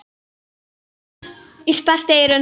Ég sperrti eyrun.